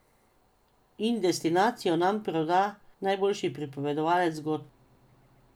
In destinacijo nam proda najboljši pripovedovalec zgodb.